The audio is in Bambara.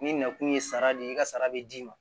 Ni nakun ye sara de ye i ka sara bɛ d'i ma